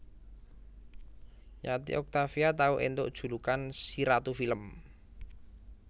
Yati Octavia tau éntuk julukan si ratu film